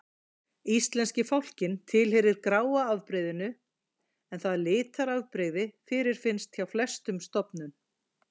Íslenski fálkinn tilheyrir gráa afbrigðinu, en það litarafbrigði fyrirfinnst hjá flestum stofnum.